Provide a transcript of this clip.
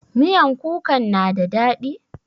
Miyan kukan na da daɗi?